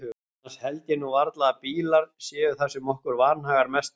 Annars held ég nú varla að bílar séu það sem okkur vanhagar mest um.